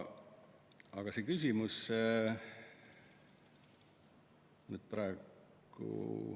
Aga see küsimus ...